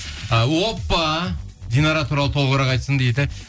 ы оппа динара туралы толығырақ айтсын дейді